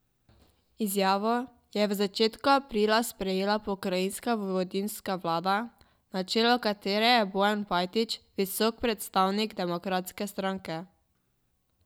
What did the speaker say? Izjavo je v začetku aprila sprejela pokrajinska vojvodinska vlada, na čelu katere je Bojan Pajtić, visok predstavnik Demokratske stranke.